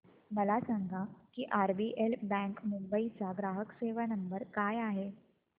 मला सांगा की आरबीएल बँक मुंबई चा ग्राहक सेवा क्रमांक काय आहे